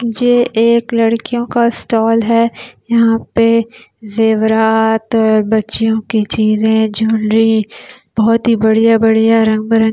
जे एक लड़कियों का स्टाल है यहाँपे ज़ेव्रात बच्चियों के चीज़ है ज्वैली बहुती बढ़िया बढ़िया रंग बिरंगी--